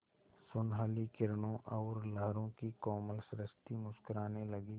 सुनहली किरणों और लहरों की कोमल सृष्टि मुस्कराने लगी